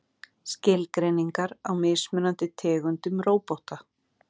Skilgreiningar á mismunandi tegundum róbóta.